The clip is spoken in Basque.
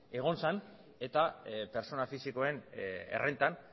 egon zen eta pertsona fisikoen errentan